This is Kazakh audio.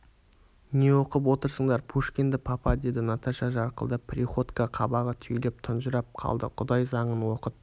не оқып отырсыңдар пушкинді папа деді наташа жарқылдап приходько қабағы түйіліп тұнжырап қалды құдай заңын оқыт